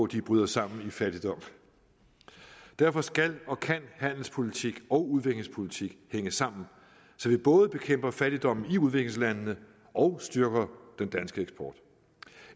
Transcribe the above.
de bryder sammen i fattigdom derfor skal og kan handelspolitik og udviklingspolitik hænge sammen så vi både bekæmper fattigdommen i udviklingslandene og styrker den danske eksport